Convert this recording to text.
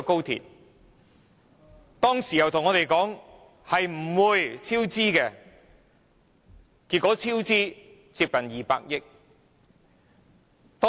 她當時告訴我們高鐵建造不會超支，結果超支接近200億元。